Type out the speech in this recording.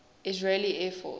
israeli air force